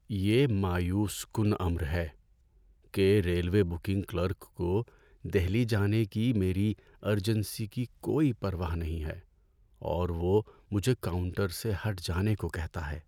یہ مایوس کن امر ہے کہ ریلوے بکنگ کلرک کو دہلی جانے کی میری ارجنسی کی کوئی پرواہ نہیں ہے اور وہ مجھے کاؤنٹر سے ہٹ جانے کو کہتا ہے۔